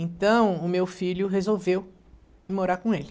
Então, o meu filho resolveu ir morar com ele.